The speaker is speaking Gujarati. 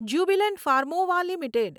Jubilant Pharmova limited